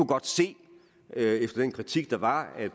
godt se efter den kritik der var at